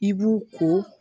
I b'u ko